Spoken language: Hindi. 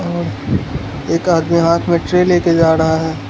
एक आदमी हाथ में ट्रे ले के जा रहा है।